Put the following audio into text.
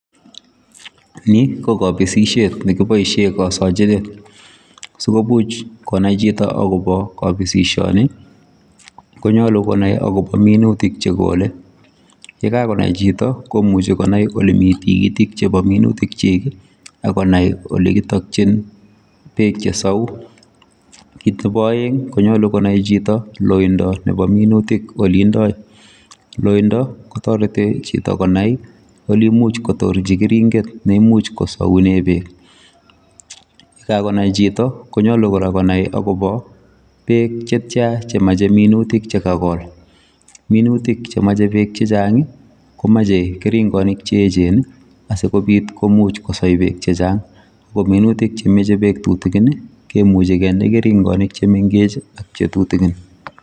Ni ko kabisisiet nekibaisheen sikomuuch konai chitoo agobo kabisisiet ni konyaluu konai agobo minutik che kolei ye kagonai chitoo komuchei konai ole Mii tikitiik chebo minutiik kyiik agonai ole kitakyiin beek che say ,kiit nebo aeng konyaluu konai agobo loindaa loindaa kotaretii chitoo konai ole imuuch kotorjii ole imuuch kosauneen beek ,ye kagonai chitoo konyaluu kora konai agobo beek che tyaan che machei minutik che kagol minutik che machei biik che chaang komachei keringanik che eecheen asikomuuch kosai beek che che chaang, ko minutik che machei beek tutukiin ii kemuchii kende keringanik che mengeech ak che tutukiin.